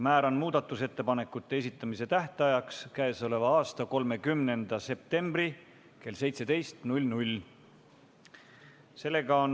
Määran muudatusettepanekute esitamise tähtajaks 30. septembri kell 17.